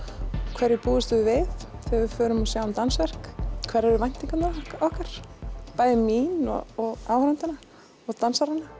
hverju búumst við við þegar við förum og sjáum dansverk hverjar eru væntingarnar okkar bæði mínar og áhorfendanna og dansaranna